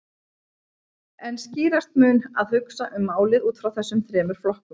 En skýrast mun að hugsa um málið út frá þessum þremur flokkum.